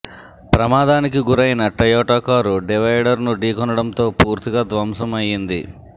ప్రమాదానికి గురైన Toyota car డివైడర్ను ఢీకొనడంతో పూర్తిగా ధ్వంసం అయింది